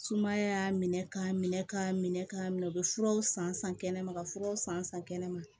Sumaya y'a minɛ k'a minɛ k'a minɛ k'a minɛ u bɛ furaw san san kɛnɛma ka furaw san san san kɛnɛma